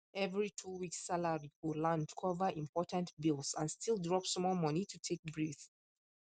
every two weeks salary go land cover important bills and still drop small money to take breathe